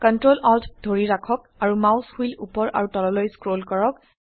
ctrl alt ধৰি ৰাখক আৰু মাউস হুইল উপৰ আৰু তললৈ স্ক্ৰল কৰক